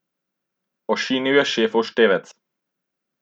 Ošinil je šefov števec.